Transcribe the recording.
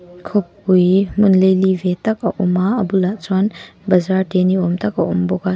khawpui hmun laili ve tak a awm a a bulah chuan bazaar te ni awm tak a awm bawk a.